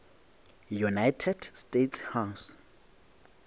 united states house